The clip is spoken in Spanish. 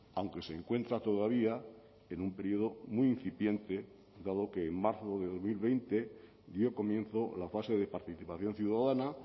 aunque se encuentra todavía en un período muy incipiente dado que en marzo de dos mil veinte dio comienzo la fase de participación ciudadana